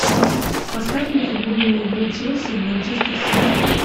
поставь мне футбольную игру челси манчестер сити